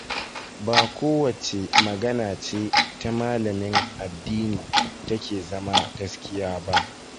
Ba kowace magana ce ta malamin addini take zama gaskiya ba.